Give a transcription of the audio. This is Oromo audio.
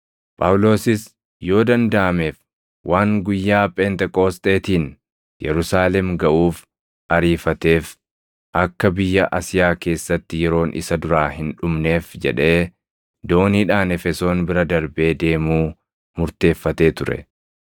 Phaawulosis yoo dandaʼameef waan guyyaa Pheenxeqoosxeetiin Yerusaalem gaʼuuf ariifateef akka biyya Asiyaa keessatti yeroon isa duraa hin dhumneef jedhee dooniidhaan Efesoon bira darbee deemuu murteeffatee ture.